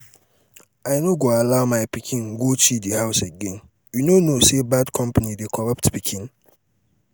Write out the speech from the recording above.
i no go ever allow um my um pikin go chidi house again you no know say bad company dey corrupt pikin?